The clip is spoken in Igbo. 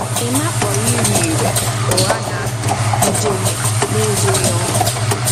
Emma kpọrọ ire ere “ụgha na njehie” n’ezoghị ọnụ.